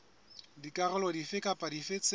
dikarolo dife kapa dife tse